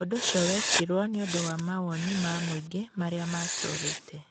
Ũndũ ũcio wekirũo nĩ ũndũ wa mawoni ma mũingĩ marĩa maatũũrĩte.